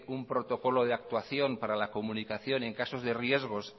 un protocolo de actuación para la comunicación en caso de riesgos